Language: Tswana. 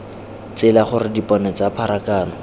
tsela gore dipone tsa pharakano